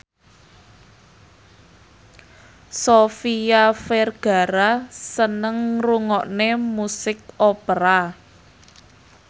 Sofia Vergara seneng ngrungokne musik opera